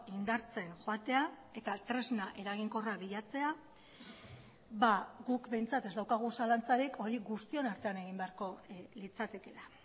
indartzen joatea eta tresna eraginkorra bilatzea guk behintzat ez daukagu zalantzarik hori guztion artean egin beharko litzatekeela